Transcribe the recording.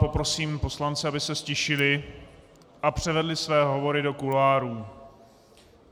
Poprosím poslance, aby se ztišili a převedli své hovory do kuloárů.